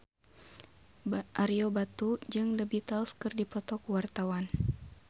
Ario Batu jeung The Beatles keur dipoto ku wartawan